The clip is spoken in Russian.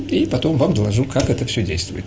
и потом вам доложу как это все действует